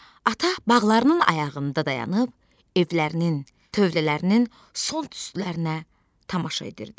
Ata bağlarının ayağında dayanıb evlərinin, tövlələrinin son tüstülərinə tamaşa edirdi.